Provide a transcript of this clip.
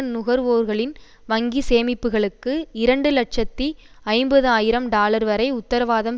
நுகர்வோர்களின் வங்கி சேமிப்புக்களுக்கு இரண்டு இலட்சத்தி ஐம்பது ஆயிரம் டாலர் வரை உத்தரவாதம்